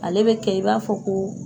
Ale be kɛ i b'a fɔ ko